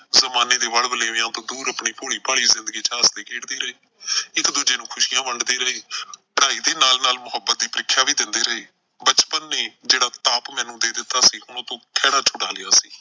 ਜ਼ਮਾਨੇ ਦੇ ਵਲਵਲ਼ੇਵਿਆਂ ਤੋਂ ਦੂਰ ਆਪਣੀ ਭੋਲੀ ਭਾਲੀ ਜ਼ਿੰਦਗੀ ਚ ਹੱਸਦੇ ਖੇਡਦੇ ਰਹੇ। ਇੱਕ ਦੂਜੇ ਨੂੰ ਖੁਸ਼ੀਆਂ ਵੰਡਦੇ ਰਹੇ। ਪੜ੍ਹਾਈ ਦੇ ਨਾਲ ਨਾਲ ਮੁਹੱਬਤ ਦੀ ਪ੍ਰੀਖਿਆ ਵੀ ਦਿੰਦੇ ਰਹੇ। ਬਚਪਨ ਨੇ ਜਿਹੜਾ ਤਾਪ ਮੈਨੂੰ ਦੇ ਦਿੱਤਾ ਸੀ ਹੁਣ ਉਹਤੋਂ ਖਿਹੜਾ ਛੁਡਾ ਲਿਆ ਸੀ।